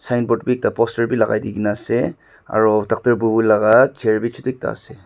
sign board be ekta poster be lagai di ke na ase aro doctor bubu laga chair be chotu ekta ase.